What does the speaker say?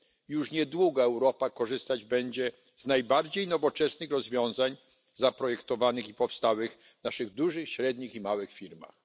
Już niedługo Europa korzystać będzie z najbardziej nowoczesnych rozwiązań zaprojektowanych i powstałych w naszych dużych, średnich i małych firmach.